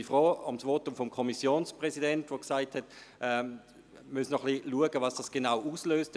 Ich bin froh um das Votum des Kommissionspräsidenten, der gesagt hat, man müsse schauen, was der Prüfungsantrag genau auslöse.